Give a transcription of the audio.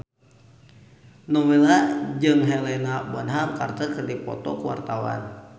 Nowela jeung Helena Bonham Carter keur dipoto ku wartawan